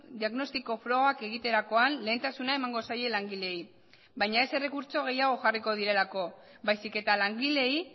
diagnostiko frogak egiterakoan lehentasuna emango zaie langileei baina ez errekurtso gehiago jarriko direlako baizik eta langileei